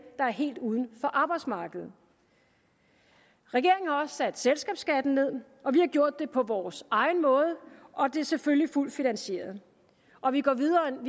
der er helt uden for arbejdsmarkedet regeringen har også sat selskabsskatten ned og vi har gjort det på vores egen måde og det er selvfølgelig fuldt finansieret og vi går videre end